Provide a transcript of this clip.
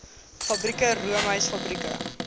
fabrieke roomys fabrieke